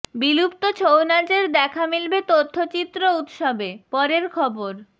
বিলুপ্ত ছৌ নাচের দেখা মিলবে তথ্যচিত্র উৎসবে পরের খবর